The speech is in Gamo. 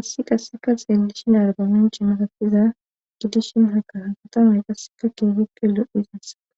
issi qasseka xeellishin argaminchi matatiza gidishin hakaa katamay qasseka keegippe lo7i xinsaa